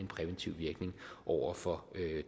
præventiv virkning over for